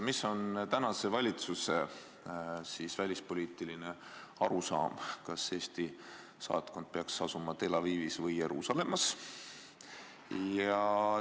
Mis on tänase valitsuse välispoliitiline arusaam, kas Eesti saatkond peaks asuma Tel Avivis või Jeruusalemmas?